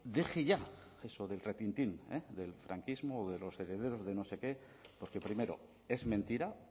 deje ya eso del retintín del franquismo o los herederos de no sé qué porque primero es mentira